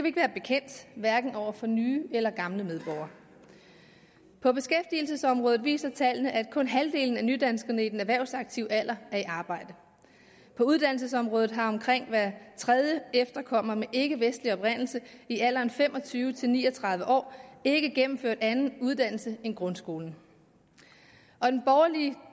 ikke være bekendt hverken over for nye eller gamle medborgere på beskæftigelsesområdet viser tallene at kun halvdelen af nydanskerne i den erhvervsaktive alder er i arbejde på uddannelsesområdet har omkring hver tredje efterkommer med ikkevestlig oprindelse i alderen fem og tyve til ni og tredive år ikke gennemført anden uddannelse end grundskolen og den